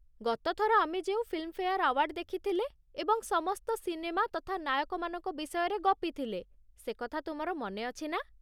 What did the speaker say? ଗତଥର ଆମେ ଯେଉଁ ଫିଲ୍ମଫେଆର୍ ଆୱାର୍ଡ ଦେଖିଥିଲେ ଏବଂ ସମସ୍ତ ସିନେମା ତଥା ନାୟକମାନଙ୍କ ବିଷୟରେ ଗପିଥିଲେ ସେକଥା ତୁମର ମନେଅଛି ନା?